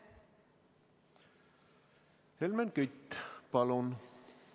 Helmen Kütt, palun!